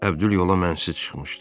Əbdül yola mən sizə çıxmışdı.